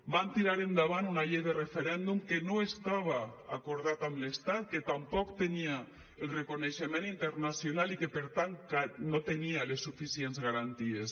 van tirar endavant una llei de referèndum que no estava acordat amb l’estat que tampoc tenia el reconeixement internacional i que per tant no tenia les suficients garanties